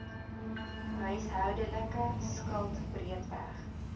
huishoudelike skuld breedweg